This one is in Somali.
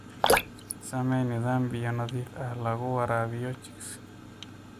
Samee nidaam biyo nadiif ah oo lagu waraabiyo chicks.